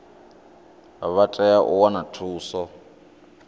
vha tea u wana thuso